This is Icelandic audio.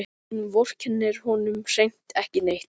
Hún vorkennir honum hreint ekki neitt.